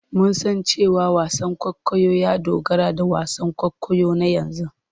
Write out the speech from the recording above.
Mun san cewa wasan kwaikwayo ya dogara da wasan kwaikwayo na yanzu.